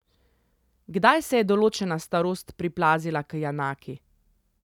Kdaj se je določena starost priplazila k Janaki?